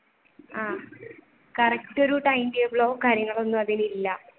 ആഹ് correct ഒരു time table ഓ കാര്യങ്ങളൊന്നുംഅതിന് ഇല്ല.